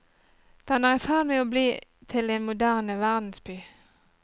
Den er i ferd med å bli til en moderne verdensby.